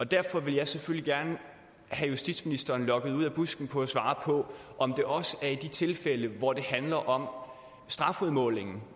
derfor vil jeg selvfølgelig gerne have justitsministeren lokket ud af busken for at svare på om det også er i de tilfælde hvor det handler om strafudmålingen